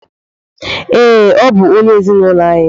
Ee, ọ bụ onye ezinụlọ anyị.